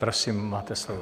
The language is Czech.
Prosím, máte slovo.